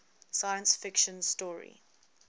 science fiction story